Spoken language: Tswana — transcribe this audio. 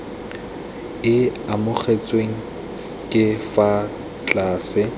e amogetsweng ka fa tlase